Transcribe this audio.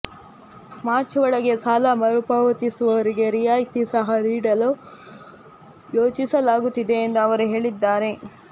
March ಒಳಗೆ ಸಾಲ ಮರುಪಾವತಿಸುವವರಿಗೆ ರಿಯಾಯಿತಿ ಸಹ ನೀಡಲು ಯೋಚಿಸಲಾಗುತ್ತಿದೆ ಎಂದು ಅವರು ಹೇಳಿದ್ದಾರೆ